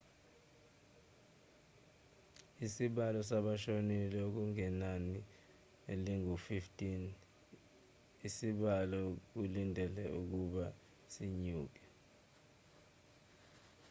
isibalo sabashonile okungenani singu-15 isibalo okulindelwe ukuba sinyuke